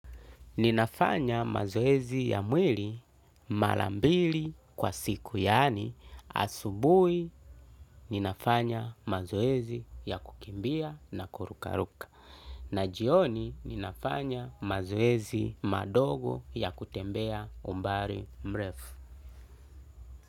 Ninafanya mazoezi ya mwili mala mbili kwa siku yaani asubui ninafanya mazoezi ya kukimbia na kurukaruka na jioni ninafanya mazoezi madogo ya kutembea umbari mrefu.